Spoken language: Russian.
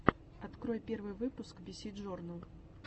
открой первый выпуск биси джорнл